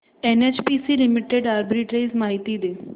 NHPC limited arbitrage माहिती दे